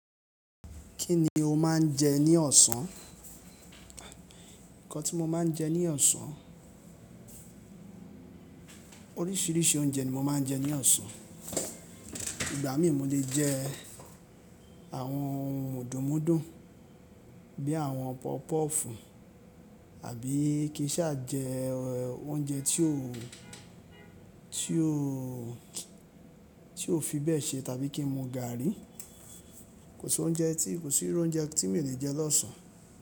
Kí ni o máa ń jẹ ní ọọ̀sán? Ǹkan tí mo máa ń jẹ ní ọ̀ọsán, oríṣiríṣi oúnjẹ ni mo máa ń jẹ ní ọ̀ọsán. Ìgbà mí mo lè jẹ ẹ àwọn mudun mudun bí i àwọn pọpọ́fù àbí kí n sa jẹẹ oúnjẹ tí ó, tí ó, tí ó fi bẹ́ẹ̀ ṣe tàbí kí n mu gàárì. Kò sí oúnjẹ tí, kò sí irú oúnjẹ tí mi ò lè jẹ l'ọ́sàn-án.